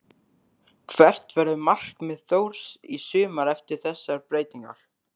Hvert verður markmið Þórs í sumar eftir þessar breytingar?